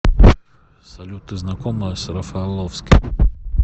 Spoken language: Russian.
салют ты знакома с рафаловским